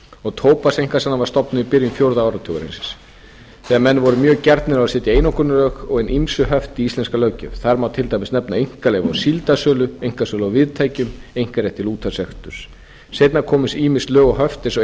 og tóbakseinkasalan var stofnuð í byrjun fjórða áratugarins þegar menn voru mjög gjarnir á að setja einokunarlög og hin ýmsu höft í íslenska löggjöf þar má til dæmis nefna einkaleyfi á síldarsölu einkasölu á viðtækjum einkarétt til útvarpsreksturs seinna komu ýmis lög og höft vegna